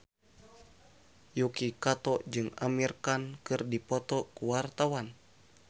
Yuki Kato jeung Amir Khan keur dipoto ku wartawan